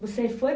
Você foi